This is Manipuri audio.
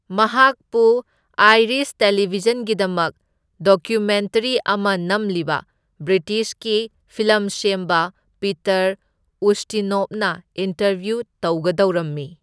ꯃꯍꯥꯛꯄꯨ ꯑꯥꯏꯔꯤꯁ ꯇꯦꯂꯤꯚꯤꯖꯟꯒꯤꯗꯃꯛ ꯗꯣꯀ꯭ꯌꯨꯃꯦꯟꯇꯔꯤ ꯑꯃ ꯅꯝꯂꯤꯕ ꯕ꯭ꯔꯤꯇꯤꯁꯀꯤ ꯐꯤꯜꯂꯝ ꯁꯦꯝꯕ ꯄꯤꯇꯔ ꯎꯁꯇꯤꯅꯣꯚꯅ ꯏꯟꯇꯔꯚ꯭ꯌꯨ ꯇꯧꯒꯗꯧꯔꯝꯃꯤ꯫